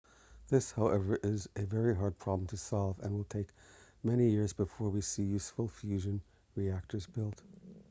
this however is a very hard problem to solve and will take many years before we see useful fusion reactors built